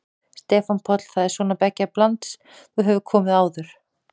Stefán Páll: Það er svona beggja blands, þú hefur komið áður?